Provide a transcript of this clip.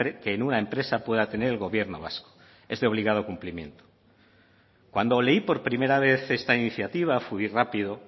que en una empresa pueda tener el gobierno vasco es de obligado cumplimiento cuando leí por primera vez esta iniciativa fui rápido